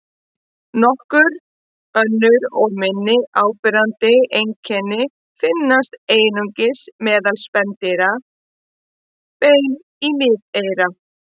Nokkur önnur og minna áberandi einkenni finnast einungis meðal spendýra: Bein í miðeyra.